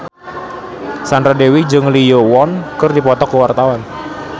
Sandra Dewi jeung Lee Yo Won keur dipoto ku wartawan